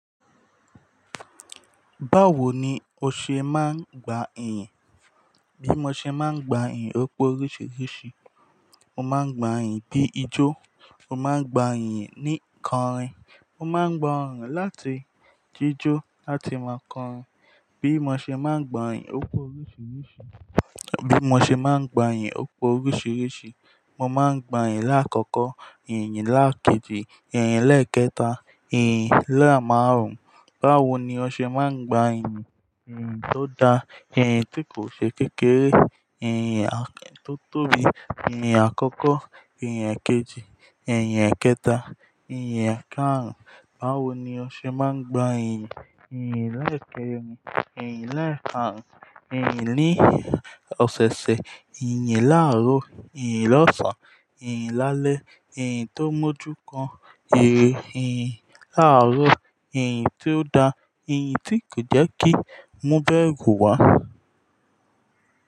Báwo ni o ṣe máa ń gba iyì? Bí mo ṣe máa ń gba iyìn, o pó oríṣiríṣi. Mo máa ń gba iyìn bí ijó, mo máa ń gba iyìn ní korìn, mo máa ń gba ọ̀ràn láti jíjó láti máa korìn. Bí mo ṣe máa ń gba iyì, opó oríṣiríṣi. Bí mo ṣe máa ń gba iyì, opó oríṣiríṣi. Mo máa ń gba iyìn láàkọ́kọ́, iyìn láàkejì, iyìn lẹ́ẹ̀kẹta, iyìn lẹ́ẹ̀ márùn-ún. Báwo ni o ṣe máa ń gba iyì? Iyìn tó da, iyìn tí kò ṣe kékeré, iyìn tó tóbi, iyìn àkọ́kọ́, iyìn èkejì, iyìn èkẹta, iyìn ẹ̀kàárún. Báwo ni o ṣe máa ń gba iyì? Iyìn lẹ́ẹ̀ kẹrin, iyìn lẹ́ẹ̀ márùn-ún, iyìn ní ọ̀sẹ̀ẹ̀sẹ̀, iyìn láàárọ̀, iyìn lọ́sàn, iyìn lálẹ́, iyìn tó mójú gan-an, iyìn láàárọ̀, iyìn tó da, iyìn tí kò jẹ́ kí múbẹ̀gù wá.